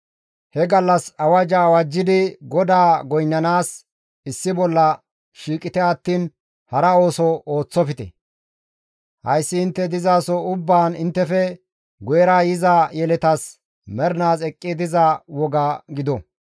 He gallas awajja awajjidi GODAA goynnanaas issi bolla shiiqite attiin hara ooso ooththofte; hayssi intte dizaso ubbaan inttefe guyera yiza yeletas mernaas eqqi diza woga gido.